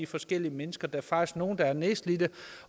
forskellige mennesker der er faktisk nogle der er nedslidte